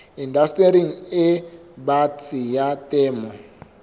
indastering e batsi ya temo